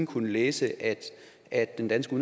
kunne læse at at den danske